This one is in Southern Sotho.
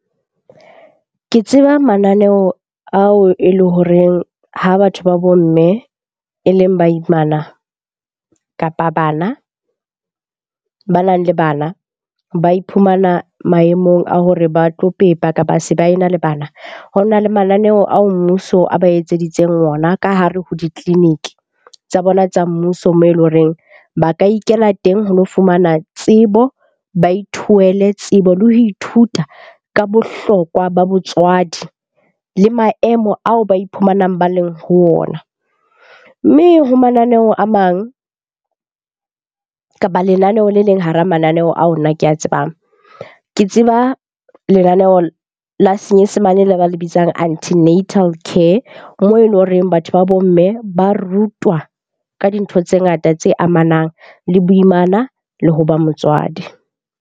Ke tseba mananeo ao e leng horeng ha batho ba bo mme e leng baimana kapa bana banang le bana. Ba iphumana maemong a hore ba tlo pepa ka ba se ba ena le bana. Ho na le mananeo ao mmuso a ba etseditseng ona ka hare ho ditleliniki tsa bona tsa mmuso moo e leng horeng ba ka ikela teng ho lo fumana tsebo, ba ithohele tsebo le ho ithuta ka bohlokwa ba botswadi le maemo ao ba iphumanang ba le ho ona. Mme ho mananeo a mang, kapa lenaneho le leng hara mananeo ao nna ke a tsebang. Ke tseba lenaneo la senyesemane le ba le bitsang antenatal care moo e leng horeng batho ba bo mme ba rutwa ka dintho tse ngata tse amanang le boimana le hoba motswadi.